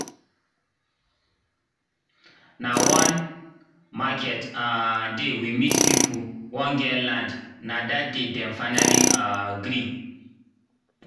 nah one market um day we meet people wen get lnd nah that day dem finally um gree